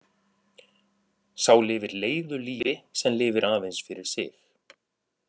Sá lifir leiðu lífi sem lifir aðeins fyrir sig.